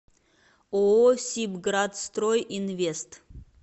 ооо сибградстрой инвест